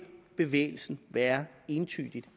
bevægelsen være entydig